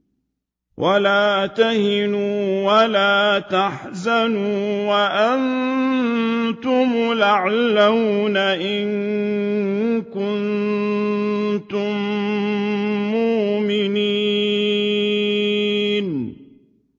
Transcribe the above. وَلَا تَهِنُوا وَلَا تَحْزَنُوا وَأَنتُمُ الْأَعْلَوْنَ إِن كُنتُم مُّؤْمِنِينَ